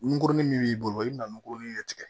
Ngurunin min b'i bolo i bɛna nunkurunin de tigɛ